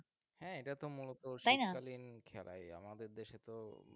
হ্যাঁ এটা তো মুলত শীতকালীন খেলা তাই আমাদের দেশে তো